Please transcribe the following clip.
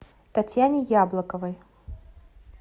татьяне яблоковой